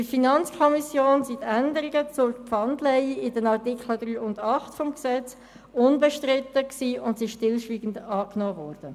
In der FiKo waren die Änderungen zur Pfandleihe in den Artikel 3 und 8 HGG unbestritten und sind stillschweigend angenommen worden.